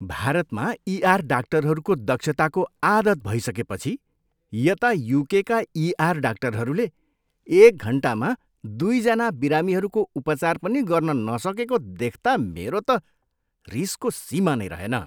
भारतमा ईआर डाक्टरहरूको दक्षताको आदत भइसकेपछि यता युकेका ईआर डाक्टरहरूले एक घन्टामा दुईजना बिरामीहरूको उपचार पनि गर्न नसकेको देख्ता मेरो त रिसको सीमा नै रहेन।